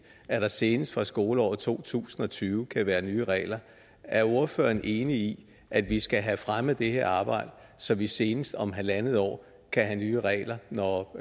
at der senest fra skoleåret to tusind og tyve kan være nye regler er ordføreren enig i at vi skal have fremmet det her arbejde så vi senest om halvandet år kan have nye regler når